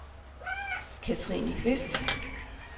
Katrine Qvist